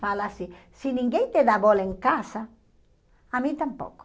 Fala assim, se ninguém te dá bola em casa, a mim tampouco.